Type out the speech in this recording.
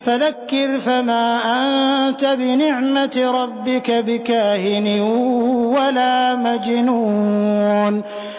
فَذَكِّرْ فَمَا أَنتَ بِنِعْمَتِ رَبِّكَ بِكَاهِنٍ وَلَا مَجْنُونٍ